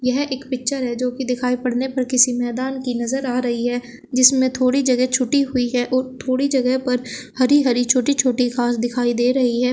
यह एक पिक्चर है जो कि दिखाई पड़ने पर किसी मैदान की नजर आ रही है जिसमें थोड़ी जगह छूटी हुई है और थोड़ी जगह पर हरी हरी छोटी छोटी घास दिखाई दे रही है।